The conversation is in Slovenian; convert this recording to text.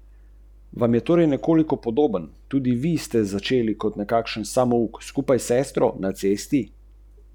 Vendar ni povedala nič takšnega.